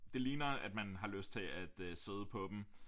Det ligner at man har lyst til at sidde på dem